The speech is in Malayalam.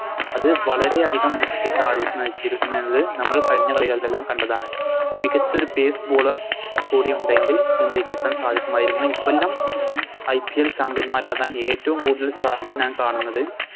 അത് വളരെ അതികം താഴുന്ന വച്ചിരിക്കു എന്നത് നമ്മൾ കഴിഞ്ഞ കളികളിലെല്ലാം കണ്ടതാണ് മികച്ചൊരു Bade bowler കൂടി ഉണ്ടെങ്കിൽ മുംബൈക്ക് എത്താൻ സാധിക്കുമായിരുന്നു ഇക്കൊല്ലം IPLChampion ന്മാരാകാൻ ഏറ്റോം കൂടുതൽ സാധ്യത ഞാൻ കാണുന്നത്